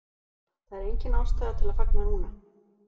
Það er engin ástæða til að fagna núna.